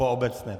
Po obecné.